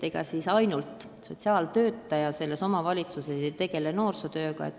Ega ainult sotsiaaltöötaja omavalitsuses noorsootööd ei tee.